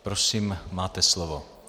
Prosím, máte slovo.